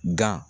Gan